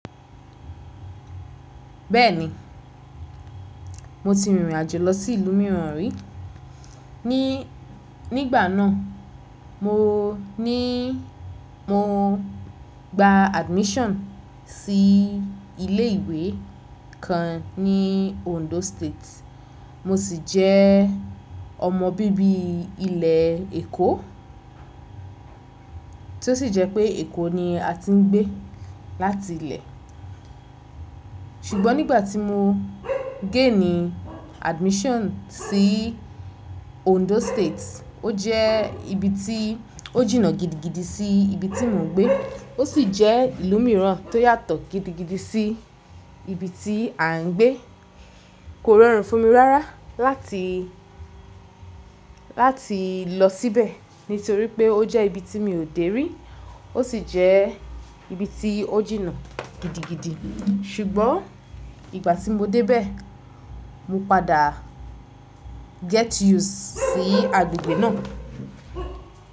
Bẹ́ẹ̀ni, mo ti rìnrìn àjò lọ sí ìlú mìíràn rí. Ni, nígbà náà mo ní, mo gba admission sí ilé ìwé kan ní Ondo State. Mo sì jẹ́ ọmọ bíbí ilẹ̀ Èkó tí ó sì jẹ́ pé Èkó ni a ti ń gbé láti ilé. Ṣùgbọ́n nígbà tí mo géènì admission sí Ondo State, ó jẹ́ ibi tí ó jìnnà gidigidi sí ibi tí mò ń gbé, ó sì jẹ́ ìlú mìíràn tó yàtọ̀ gidigidi sí ibi tí à ń gbé. Kò rọrùn fún mi rárá láti, láti lọ síbẹ̀ nítorí pé ó jẹ́ ibi tí mi ò dé rí, ó sì jẹ́ ibi tí ó jìnnà gidigidi. Ṣùgbọ́n ìgbà tí mo dé bẹ̀, mo padà get used sí agbègbè náà.